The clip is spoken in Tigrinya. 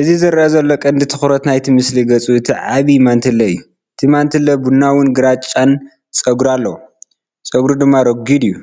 እዚ ዝረአ ዘሎ ቀንዲ ትኹረት ናይቲ ምስሊ ገጽ እቲ ዓቢይ ማንትለ እዩ። እቲ ማንትለ ቡናውን ግራጭን ጸጉሪ ኣለዎ፣ ጸጉሩ ድማ ረጒድ እዩ።